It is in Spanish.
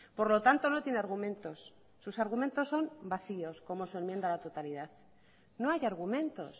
por lo tanto no tiene argumentos sus argumentos son vacíos como su enmienda a la totalidad no hay argumentos